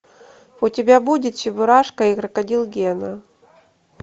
у тебя будет чебурашка и крокодил гена